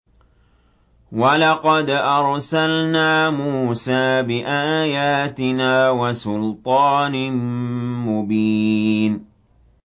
وَلَقَدْ أَرْسَلْنَا مُوسَىٰ بِآيَاتِنَا وَسُلْطَانٍ مُّبِينٍ